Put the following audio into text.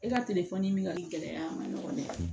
E ka min ka gɛlɛ a ma ɲɔgɔn dɛ